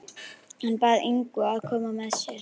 Hann bað Ingu að koma með sér.